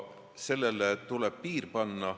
Sellele tuleb piir panna.